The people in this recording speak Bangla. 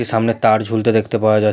সামনে তার ঝুলতে দেখতে পাওয়া যা--